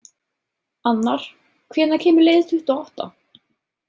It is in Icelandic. Annar, hvenær kemur leið tuttugu og átta?